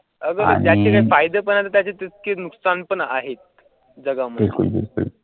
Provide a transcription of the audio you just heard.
अगत्याचे फायदे पण त्याचे नुकसान पण आहे जगामध्ये.